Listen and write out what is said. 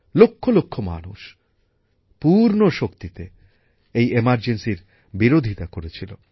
লক্ষ লক্ষ মানুষ পূর্ণ শক্তিতে জরুরী অবস্থার বিরোধিতা করেছিলন